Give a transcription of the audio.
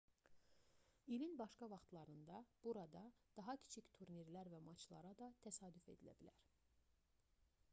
i̇lin başqa vaxtlarında burada daha kiçik turnirlər və maçlara da təsadüf edilə bilər